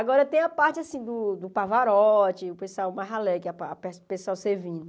Agora, tem a parte, assim, do do Pavarotti, o pessoal, mais alegre, que a pa pessoal servindo.